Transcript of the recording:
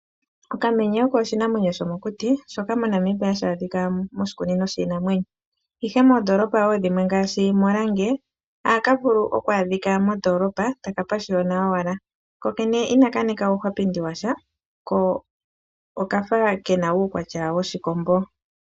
Okamenye oko okanamwenyo komokuti. Ohaka adhika moshikunino shiinamwenyo moNamibia , ihe moondolopa dhimwe ngaashi oRange ohaka monika mondoolopa taka pashiyona owala. Kakena uukwapindi washa ko okavalwa kafa oshimbombo.